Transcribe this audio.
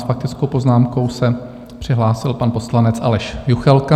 S faktickou poznámkou se přihlásil pan poslanec Aleš Juchelka.